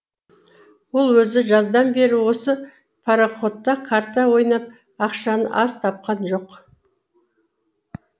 ол өзі жаздан бері осы пароходта карта ойнап ақшаны аз тапқан жоқ